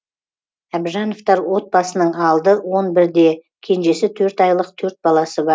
әбжановтар отбасысының алды он бірде кенжесі төрт айлық төрт баласы бар